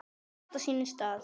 Allt á sínum stað.